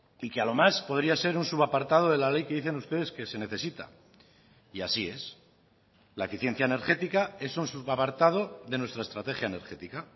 y que a lo más podría ser un sub apartado de la ley que dicen ustedes que se necesita y así es la eficiencia energética es un sub apartado de nuestra estrategia energética